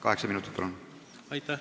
Kaheksa minutit, palun!